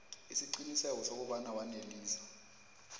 isiqiniseko sokobana wanelisa